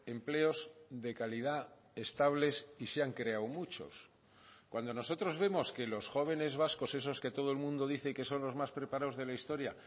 empleos de calidad estables y se han creado muchos cuando nosotros vemos que los jóvenes vascos esos que todo el mundo dice que son los más preparados de la historia